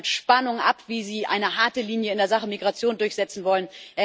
Wir warten das mit Spannung ab, wie Sie eine harte Linie in der Sache Migration durchsetzen wollen.